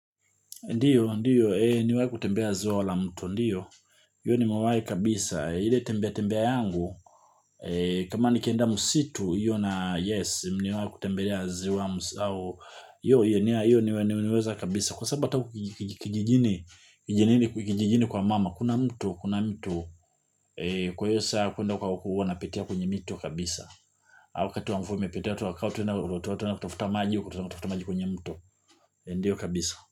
Ndiyo, ndiyo, eeh, nimewai kutembelea zoa la mtu, ndiyo. Iyo ni nimewahi kabisa. Ile tembea tembea yangu, kama ni kienda msitu, iyo na yes, niwai kutembelea ziwa msao. Yo, iyo nimeweza kabisa. Kwa sababu ata huku kijijini, kijijini kwa mama, kuna mtu, kuna mtu. Kwa hiyo saa ya kwenda huko, huwa na pitia kwenye mito, kabisa. Wakati wa mvua umepita kutafuta maji wa kutafuta maji wa kutafuta maji kwenye mto. Ndiyo kabisa.